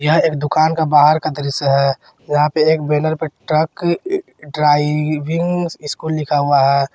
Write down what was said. यह एक दुकान का बाहर का दृश्य है जहां पे एक बैनर पर ट्रक ड्राइविंग स्कूल लिखा हुआ है।